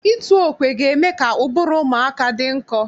Ịtụ okwe ga-eme ka ụbụrụ ụmụaka dị nkọ.